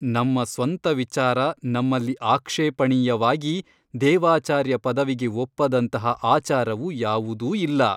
ನಮ್ಮ ಸ್ವಂತ ವಿಚಾರ ನಮ್ಮಲ್ಲಿ ಆಕ್ಷೇಪಣೀಯವಾಗಿ ದೇವಾಚಾರ್ಯ ಪದವಿಗೆ ಒಪ್ಪದಂತಹ ಆಚಾರವು ಯಾವುದೂ ಇಲ್ಲ.